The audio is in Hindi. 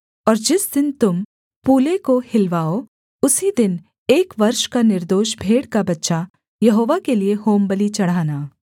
और जिस दिन तुम पूले को हिलवाओ उसी दिन एक वर्ष का निर्दोष भेड़ का बच्चा यहोवा के लिये होमबलि चढ़ाना